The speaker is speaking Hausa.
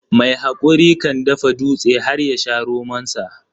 Mai hakuri kan dafa dutse har yasha romonsa.